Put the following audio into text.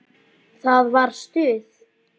Það var stuð!